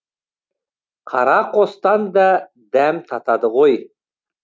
қара қостан да дәм татады ғой